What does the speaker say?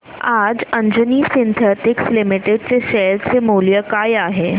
आज Anjani synthetics limited चे share मूल्य काय आहे